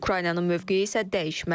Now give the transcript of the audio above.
Ukraynanın mövqeyi isə dəyişməzdir.